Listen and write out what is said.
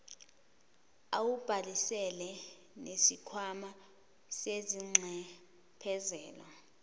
awubhalisile nesikhwama sezinxephezelo